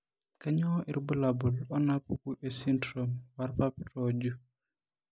Kainyio irbulabul onaapuku esindirom oorpapit ooju?